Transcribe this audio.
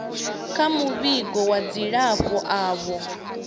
kha muvhigo wa dzilafho avho